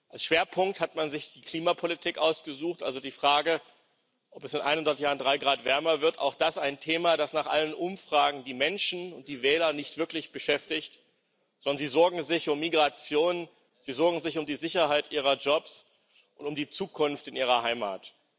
Als Schwerpunkt hat man sich die Klimapolitik ausgesucht, also die Frage, ob es in 100 Jahren drei Grad wärmer sein wird auch das ein Thema, das nach allen Umfragen die Menschen und die Wähler nicht wirklich beschäftigt, sondern sie sorgen sich um Migration, sie sorgen sich um die Sicherheit ihrer Jobs und um die Zukunft in ihrer Heimat.